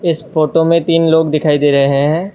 इस फोटो में तीन लोग दिखाई दे रहे हैं।